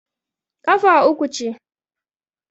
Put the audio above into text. kafa uku ce